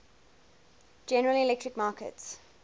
general electric markets